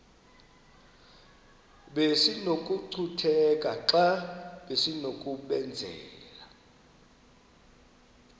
besinokucutheka xa besinokubenzela